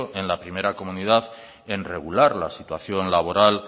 en la primera comunidad en regular la situación laboral